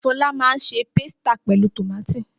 Fọlá máa se pásítà pẹ̀lú tòmátì.